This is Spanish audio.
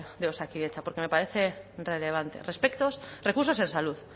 de osakidetza porque me parece relevante recursos en salud